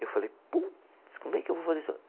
Eu falei, putz, como é que eu vou fazer isso?